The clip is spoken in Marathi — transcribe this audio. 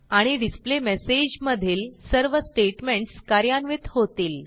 आणि डिस्प्लेमेसेज मधील सर्व स्टेटमेंटस कार्यान्वित होतील